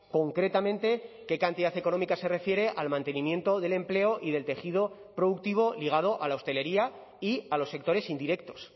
concretamente qué cantidad económica se refiere al mantenimiento del empleo y del tejido productivo ligado a la hostelería y a los sectores indirectos